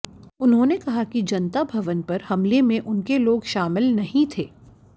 उन्होंने कहा कि जनता भवन पर हमले में उनके लोग शामिल नहीं थे